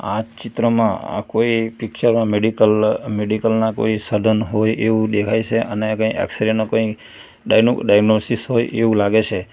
આ ચિત્રમાં આ કોઈ પિક્ચર માં મેડિકલ મેડિકલ ના કોઈ સાધન હોય એવું દેખાય છે અને કય એક્સરે ના કઈ ડાયનો ડાયનોસિસ હોય એવું લાગે છે.